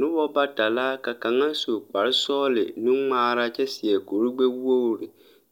Nobɔ bata la ka kaŋa su kparesɔgle nungmaara kyɛ seɛ kurigbɛwogre